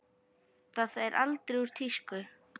Það fer aldrei úr tísku.